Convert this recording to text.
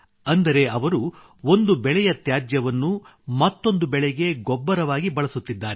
ಅಂದರೆ ಅವರು ಒಂದು ಬೆಳೆಯ ತ್ಯಾಜ್ಯಗಳನ್ನು ಮತ್ತೊಂದು ಬೆಳೆಗೆ ಗೊಬ್ಬರವಾಗಿ ಬಳಸುತ್ತಿದ್ದಾರೆ